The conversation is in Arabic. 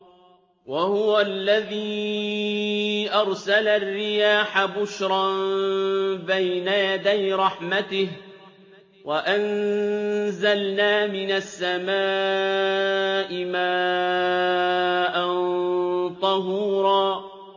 وَهُوَ الَّذِي أَرْسَلَ الرِّيَاحَ بُشْرًا بَيْنَ يَدَيْ رَحْمَتِهِ ۚ وَأَنزَلْنَا مِنَ السَّمَاءِ مَاءً طَهُورًا